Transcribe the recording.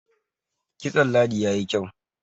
kitson ladi ya yi kyau